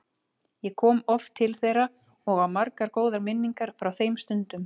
Ég kom oft til þeirra og á margar góðar minningar frá þeim stundum.